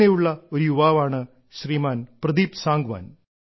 അങ്ങനെയുള്ള ഒരു യുവാവാണ് ശ്രീമാൻ പ്രദീപ് സാംഗ്വാൻ